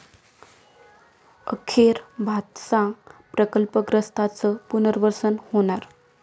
अखेर भातसा प्रकल्पग्रस्तांचं पुनर्वसन होणार!